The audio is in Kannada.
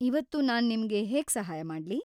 ಇವತ್ತು ನಾನ್ ನಿಮ್ಗೆ ಹೇಗ್ ಸಹಾಯ ಮಾಡ್ಲಿ?